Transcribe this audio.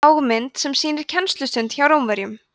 lágmynd sem sýnir kennslustund hjá rómverjum